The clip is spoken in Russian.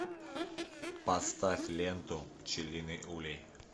поставь ленту пчелиный улей